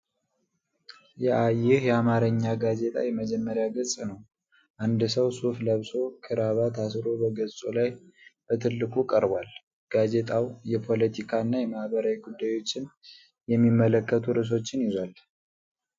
ይህ የአማርኛ ጋዜጣ የመጀመሪያ ገጽ ነው። አንድ ሰው ሱፍ ለብሶ፣ ክራባት አስሮ በገጹ ላይ በትልቁ ቀርቧል። ጋዜጣው የፖለቲካ እና የማህበራዊ ጉዳዮችን የሚመለከቱ ርዕሶችን ይዟል።